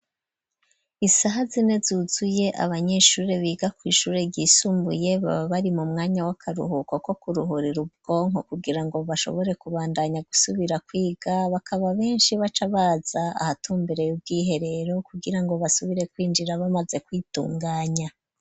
isaha zine zuzuye, abanyeshuri biga kw'ishuri ryisumbuye baba bari mu mwanya w'akaruhuko ko kuruhurira ubwonko kugira ngo bashobore kubandanya gusubira kwiga, bakaba benshi baca baza ahatumbereye ubw'iherero kugira ngo basubire kw'injira bamaze kw'itunganya